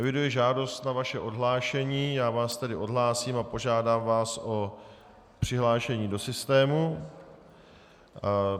Eviduji žádost na vaše odhlášení, já vás tedy odhlásím a požádám vás o přihlášení do systému.